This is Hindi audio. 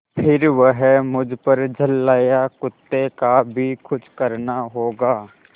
फिर वह मुझ पर झल्लाया कुत्ते का भी कुछ करना होगा